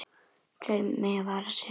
Þau mega vara sig.